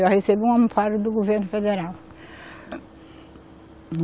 Eu recebo o Amparo do governo federal.